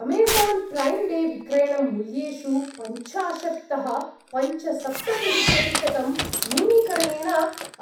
Amazon Prime Day विक्रयणं मूल्येषु पञ्चाशत्तः पञ्चसप्ततिः प्रतिशतं न्यूनीकरणेन